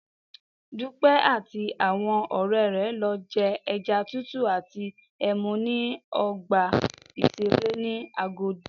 Dúpẹ́ àti àwọn ọ̀rẹ́ rẹ̀ lọ je ẹja tútù àti ẹmu ní ọgbà ìṣeré ní Agodi